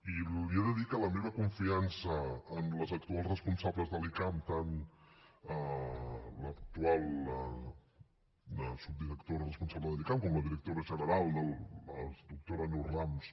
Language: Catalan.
i li he de dir que la meva confiança en les actuals responsables de l’icam tant l’actual subdirectora responsable de l’icam com la directora general la doctora neus rams